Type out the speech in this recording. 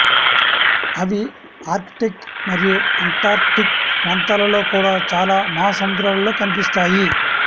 అవి ఆర్కిటిక్ మరియు అంటార్కిటిక్ ప్రాంతాలలో కూడా చాలా మహాసముద్రాలలో కనిపిస్తాయి